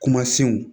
Kumasenw